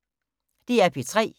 DR P3